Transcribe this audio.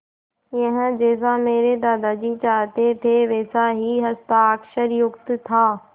यह जैसा मेरे दादाजी चाहते थे वैसा ही हस्ताक्षरयुक्त था